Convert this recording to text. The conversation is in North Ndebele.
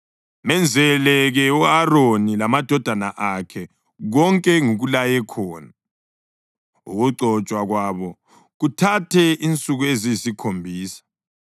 Menzele-ke u-Aroni lamadodana akhe konke engikulaye khona, ukugcotshwa kwabo kuthathe insuku eziyisikhombisa.